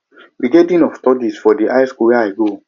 we get dean of studies for di high skool wey i go